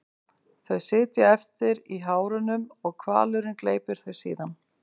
Þau sitja eftir í hárunum og hvalurinn gleypir þau síðan.